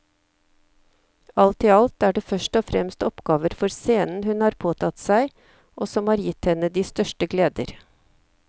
Alt i alt er det først og fremst oppgaver for scenen hun har påtatt seg og som har gitt henne de største gleder.